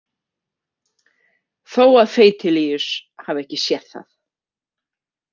Þó að feitilíus hafi ekki séð það.